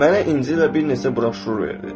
Mənə İncil və bir neçə broşür verdi.